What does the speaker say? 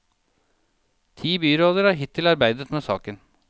Ti byråder har hittil arbeidet med saken.